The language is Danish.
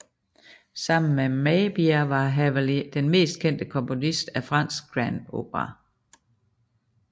Sammen med Meyerbeer var Halévy den mest kendte komponist af fransk grand opéra